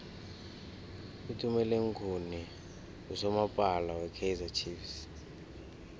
utumeleng khune nqusomapala we kaizer chiefs